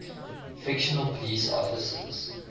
fictional police officers